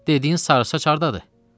dediyin sarısaç hardadır?